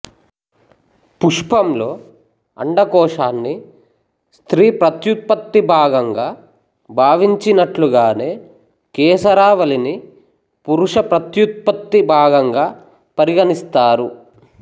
పుష్పంలో అండకోశాన్ని స్త్రీ ప్రత్యుత్పత్తి భాగంగా భావించినట్లుగానే కేసరావళిని పురుష ప్రత్యుత్పత్తి భాగంగా పరిగణిస్తారు